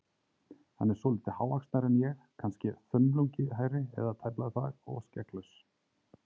Hann er svolítið hávaxnari en ég- kannske þumlungi hærri, eða tæplega það, og skegglaus.